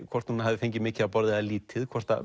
hvort hún hafði fengið mikið að borða eða lítið hvort